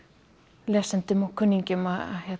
lesendum og kunningjum að